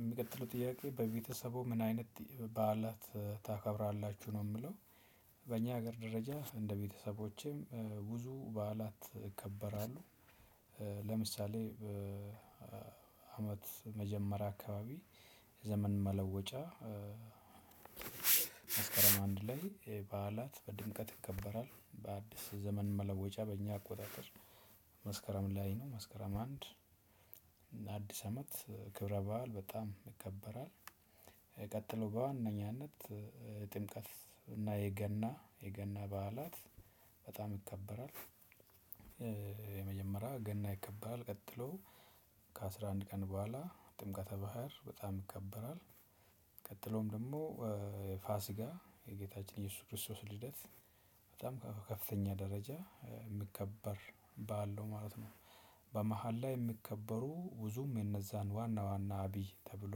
የሚቀጥለው ጥያቄ በቤተሰቡ ምን አይነት በዓላት ታከብራላችሁ ነው የሚለው? በእኛ ሀገር ደረጃ እንደ ቤተሰቦቼም ብዙ በዓላት ይከበራል። ለምሳሌ አመት መጀመሪያ አካባቢ ዘመን መለወጫ። መስከረም አንድ ላይ በዓላት በድምቀት ይከበራል በአዲስ ዘመን መለወጫ በእኛ አቆጣጠር መስከረም ላይ ነው መስከረም አንድ እና አዲስ አመት ክብረ በዓል በጣም ይከበራል። የሚቀጥለው በዋነኝነት ጥምቀት እና የገና የገና በዓላት በጣም ይከበራል። የመጀመሪያ ገና ይከበራል ቀጥሎ ከአስራ አንድ ቀን በኋላ ጥምቀተ ባህር በጣም ይከበራል። ቀጥሎም ደግሞ ፋሲጋ የጌታችን ኢየሱስ ክርስቶስ ልደት በጣም ከፍተኛ ደረጃ የምከበር በዓል ነው ማለት ነው። በመሃል ላይ የሚከበሩ ብዙም የነዛን ዋና ዋና አብይ ተብሎ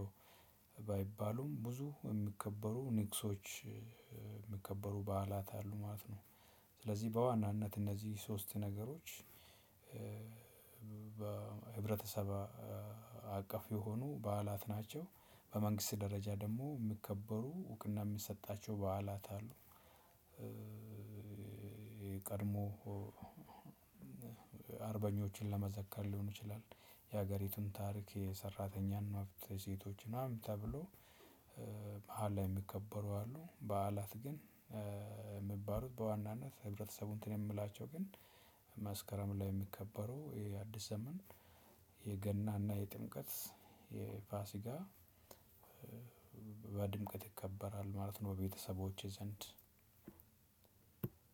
ባይባሉም ብዙ የሚከበሩ ንግሶች የሚከበሩ በዓላት አሉ ማለት ነው። ስለዚህ በዋናነት እነዚህ ሶስት ነገሮች በህብረተሰባ በህብረተሰብ አቀፍ የሆኑ በዓላት ናቸው። በመንግስት ደረጃ ደግሞ የሚከበሩ እውቅና የሚሰጣቸው በዓላት አሉ። የቀድሞ አርበኞችን ለመዘከር ሊሆን ይችላል። የሀገሪቱን ታሪክ የሰራተኛ መብት ሴቶች ምናምን ተብሎ በዓል የሚከበሩ አሉ በዓላት ግን። የሚባሉት በዋናነት ህብረተሰቡ እንትን የምላቸው ግን መስከረም ላይ የሚከበሩ የአዲስ ዘመን የገና እና የጥምቀት የፋሲጋ። በድምቀት ይከበራል ማለት ነው በቤተሰቦቼ ዘንድ።